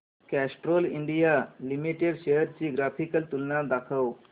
Castrol India limited shares ची graphical तुलना दाखव